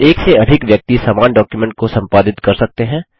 एक से अधिक व्यक्ति समान डॉक्युमेंट को संपादित कर सकते हैं